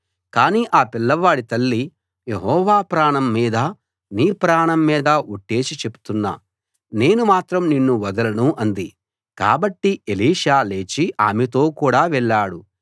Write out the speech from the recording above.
కానీ ఆ పిల్లవాడి తల్లి యెహోవా ప్రాణం మీదా నీ ప్రాణం మీదా ఒట్టేసి చెప్తున్నా నేను మాత్రం నిన్ను వదలను అంది కాబట్టి ఎలీషా లేచి ఆమెతో కూడా వెళ్ళాడు